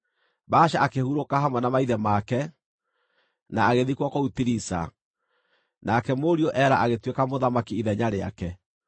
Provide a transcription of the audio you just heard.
Baasha akĩhurũka hamwe na maithe make, na agĩthikwo kũu Tiriza. Nake mũriũ Ela agĩtuĩka mũthamaki ithenya rĩake.